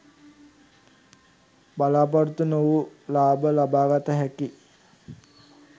බලා‍පොරොත්තු නොවූ ලාභ ලබාගත හැකි